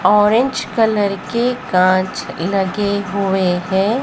Orange colour के कांच लगे हुए हैं।